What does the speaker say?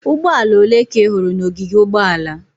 Ụgbọala ole ka ị hụrụ n'ogige ụgbọala?